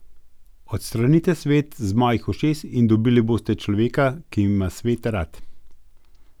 Odstranite svet z mojih ušes in dobili boste človeka, ki ima svet rad.